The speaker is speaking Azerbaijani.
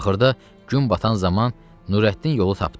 Axırda gün batan zaman Nurəddin yolu tapdı.